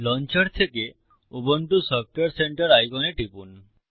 launcher থেকে Ubuntu সফটওয়ারে centre আইকনে টিপুন